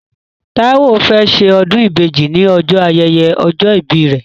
Táíwó fẹ́ ṣe ọdún ìbejì ní ọjọ́ ayẹyẹ ọjọ́ ìbí rẹ̀